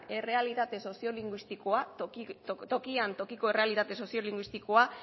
errealitate soziolinguistikoa tokian tokiko errealitate soziolinguistikoa